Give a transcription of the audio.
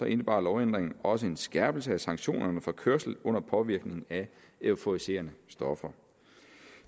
indebar lovændringen også en skærpelse af sanktionerne for kørsel under påvirkning af euforiserende stoffer